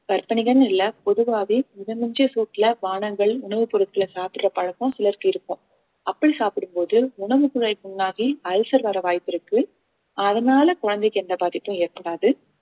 கற்பனைகன்னு இல்லை பொதுவாவே மித மிஞ்சிய சூட்டுல பானங்கள் உணவுப் பொருட்களை சாப்பிடுற பழக்கம் சிலருக்கு இருக்கும் அப்படி சாப்பிடும்போது உணவுக்குழாய் புண்ணாகி ulcer வர வாய்ப்பிருக்கு அதனால குழந்தைக்கு எந்த பாதிப்பும் ஏற்படாது